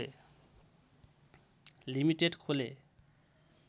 limited खोले